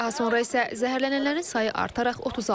Daha sonra isə zəhərlənənlərin sayı artaraq 36 olub.